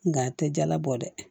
Nga a tɛ jala bɔ dɛ